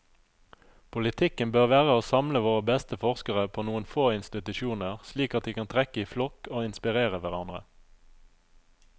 Politikken bør være å samle våre beste forskere på noen få institusjoner, slik at de kan trekke i flokk og inspirere hverandre.